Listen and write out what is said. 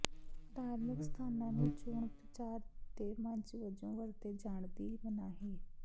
ਧਾਰਮਿਕ ਸਥਾਨਾਂ ਨੂੰ ਚੋਣ ਪ੍ਰਚਾਰ ਦੇ ਮੰਚ ਵਜੋਂ ਵਰਤੇ ਜਾਣ ਦੀ ਮਨਾਹੀ